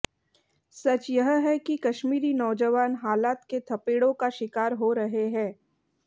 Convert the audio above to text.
सच यह है कि कश्मीरी नौजवान हालात के थपेड़ों का शिकार हो रहे हैं